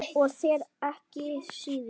Og þér ekki síður